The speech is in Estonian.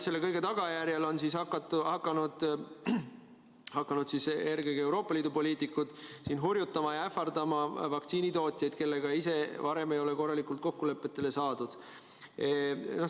Selle kõige tagajärjel on hakanud eelkõige Euroopa Liidu poliitikud hurjutama ja ähvardama vaktsiinitootjaid, kellega ise varem ei ole korralikult kokkulepetele saadud.